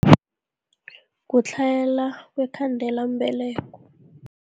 Kuhlayela kwekhandelambeleko.